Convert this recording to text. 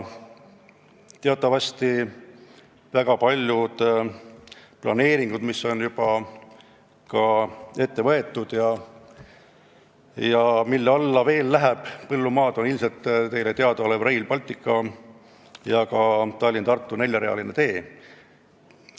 Teatavasti on väga paljud planeeringud, mis on juba ette võetud ja mille alla läheb veel põllumaad, näiteks ilmselt teile teadaolev Rail Baltic ja ka Tallinna–Tartu neljarealine tee.